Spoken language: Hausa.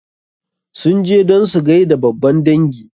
Sun je don su gaida babban dangi.